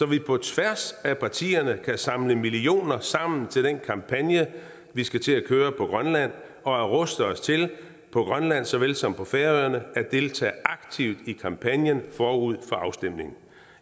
vi på tværs af partierne samle millioner sammen til den kampagne vi skal til at køre på grønland og ruste os til på grønland såvel som på færøerne at deltage aktivt i kampagnen forud for afstemningen